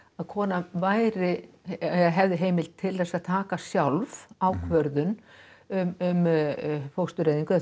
kona væri eða hefði heimild til að taka sjálf ákvörðun um fóstureyðingu eða